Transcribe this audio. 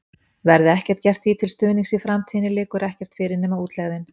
Verði ekkert gert því til stuðnings í framtíðinni, liggur ekkert fyrir nema útlegðin.